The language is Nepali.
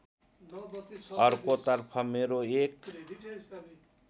अर्कोतर्फ मेरो एक